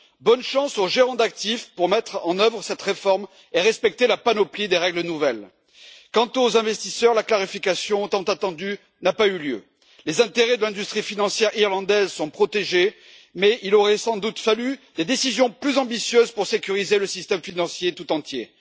Je souhaite bonne chance aux gérants d'actifs pour mettre en œuvre cette réforme et respecter la panoplie des nouvelles règles. Quant aux investisseurs, la clarification tant attendue n'a pas eu lieu. Les intérêts de l'industrie financière irlandaise sont protégés, mais il aurait sans doute fallu des décisions plus ambitieuses pour sécuriser le système financier tout entier.